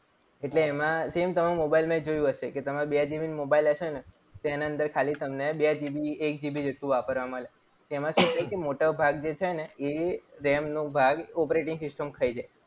એટલે એમાં same તમે તમારા મોબાઇલમાં જોયું હશે કે તમે બે GB નો મોબાઇલ લેશો ને તો એની અંદર ખાલી તમને બે GB એક GB જેટલું વાપરવા મળે. એમાં શું છે કે જે મોટો ભાગ છે ને એ RAM નો ભાગ operating system ખાઈ જાય.